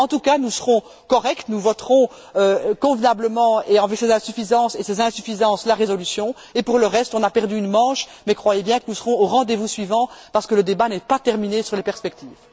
En tout cas, nous serons corrects, nous voterons convenablement et avec ces insuffisances, et ces insuffisances la résolution, et pour le reste, on a perdu une manche, mais croyez bien que nous serons au rendez vous suivant, parce que le débat n'est pas terminé sur les perspectives.